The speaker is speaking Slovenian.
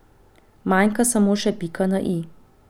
Manjka samo še pika na i.